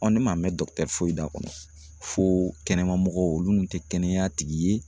ne ma mɛn foyi la fo kɛnɛmamɔgɔw olu tɛ kɛnɛya tigi ye